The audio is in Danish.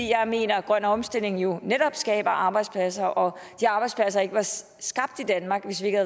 jeg mener at grøn omstilling jo netop skaber arbejdspladser og at de arbejdspladser ikke var skabt i danmark hvis ikke